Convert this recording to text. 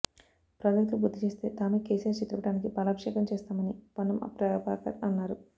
ప్రాజెక్టులు పూర్తి చేస్తే తామే కేసీఆర్ చిత్రపటానికి పాలాభిషేకం చేస్తామని పొన్నం ప్రభాకర్ అన్నారు